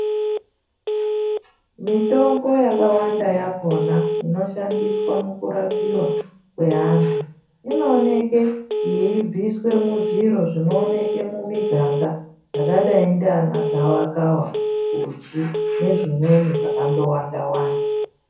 Mitombo yakawanda yakhona inoshandiswa mukurapiwa kweantu inooneke yeibviswe muzviro zvinooneke mumiganga zvakadai ndiana gavakava, uchi nezvimweni zvakandowanda wanda.